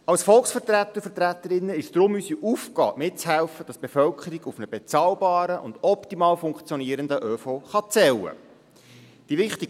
Als Volksvertreter und Volksvertreterinnen ist es deshalb unsere Aufgabe, mitzuhelfen, dass die Bevölkerung auf einen bezahlbaren und optimal funktionieren ÖV zählen kann.